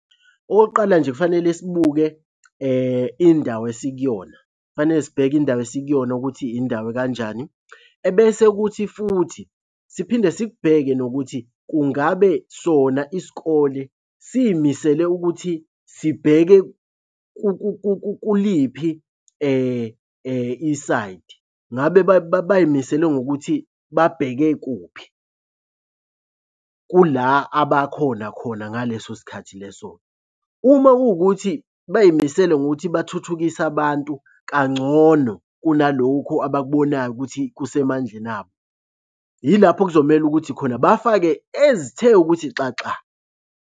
Okokuqala nje kufanele sibuke indawo esikuyona, kufanele sibheke indawo esikuyona ukuthi indawo ekanjani. Ebese kuthi futhi siphinde sikubheke nokuthi kungabe sona isikole siy'misele ukuthi sibheke kuliphi isayidi. Ngabe bay'misele ngokuthi babheke kuphi kula abakhona khona ngaleso sikhathi leso. Uma kuwukuthi bay'misele ngokuthi bathuthukise abantu kangcono kunalokhu abakubonayo ukuthi kusemandleni abo. Yilapho kuzomele ukuthi khona bafake ezithe ukuthi xaxa.